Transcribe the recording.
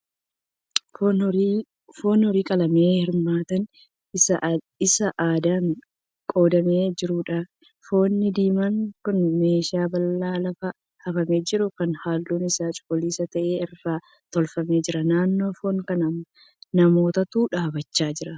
Foon horii qalamee hirmaati isaa addaan qoodamee jiruudha. Foonni diimaan kun meeshaa bal'aa lafa hafamee jiru kan halluun isaa cuquliisa ta'e irra tuulamee jira. Naannoo foon kanaa namootatu dhaabbachaa jira.